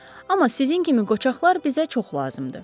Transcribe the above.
Amma sizin kimi qocaqlar bizə çox lazımdır.